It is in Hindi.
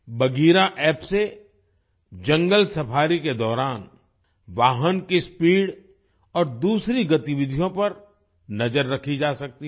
बघीरा App से जंगल सफारीSAFARI के दौरान वाहन की स्पीड और दूसरी गतिविधियों पर नजर रखी जा सकती है